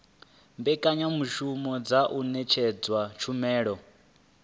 mbekanyamushumo dza u ṅetshedza tshumelo